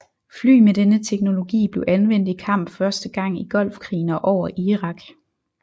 Fly med denne teknologi blev anvendt i kamp første gang i Golfkrigen og over Irak